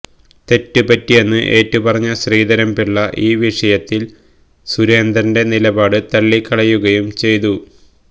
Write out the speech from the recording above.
തെറ്റ് പറ്റിയെന്ന് ഏറ്റ് പറഞ്ഞ ശ്രീധരൻപിള്ള ഇൌ വിഷയത്തിൽ സുരേന്ദ്രന്റെ നിലപാട് തള്ളികളയുകയും ചെയ്തു